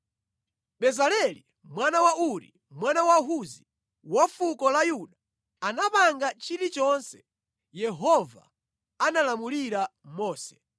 Bezaleli mwana wa Uri, mwana wa Huzi wa fuko la Yuda anapanga chilichonse Yehova analamulira Mose,